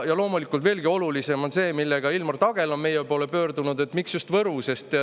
Ja loomulikult, veelgi olulisem on see, millega Ilmar Tagel on meie poole pöördunud: miks just Võru?